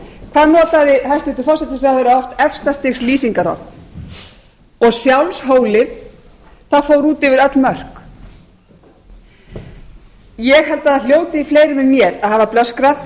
hvað notaði hæstvirtur forsætisráðherra oft efsta stigs lýsingarorð og sjálfshólið það fór út yfir öll mörk ég held að það hljóti fleirum en mér að hafa blöskrað